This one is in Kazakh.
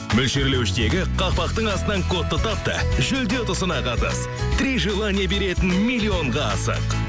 мөлшерлеуіштегі қақпақтың астынан кодты тап та жүлде ұтысына қатыс три желание беретін миллионға асық